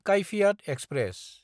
काइफियात express